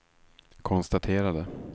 konstaterade